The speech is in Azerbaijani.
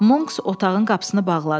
Monks otağın qapısını bağladı.